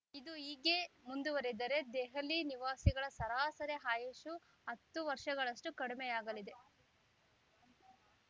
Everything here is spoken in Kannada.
ಇದು ಹೀಗೆಯೇ ಮುಂದುವರಿದರೆ ದೆಹಲಿ ನಿವಾಸಿಗಳ ಸರಾಸರಿ ಆಯಸ್ಸು ಹತ್ತು ವರ್ಷಗಳಷ್ಟುಕಡಿಮೆಯಾಗಲಿದೆ